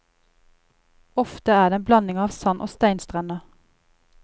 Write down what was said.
Ofte er det en blanding av sand og steinstrender.